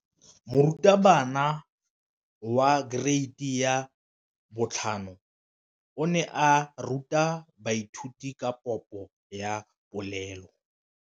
Moratabana wa kereiti ya 5 o ne a ruta baithuti ka popô ya polelô.